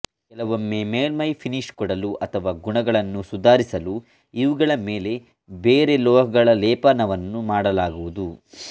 ಕೆಲವೊಮ್ಮೆ ಮೇಲ್ಮೈ ಪಿನೀಶ್ ಕೊಡಲು ಅಥವಾ ಗುಣಗಳನ್ನು ಸುಧಾರಿಸಲು ಇವುಗಳ ಮೇಲೆ ಬೇರೆ ಲೋಹಗಳ ಲೇಪನವನ್ನು ಮಾಡಲಾಗುವುದು